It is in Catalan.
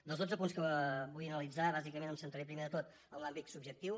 dels dotze punts que vull analitzar bàsicament em centraré primer de tot en l’àmbit subjectiu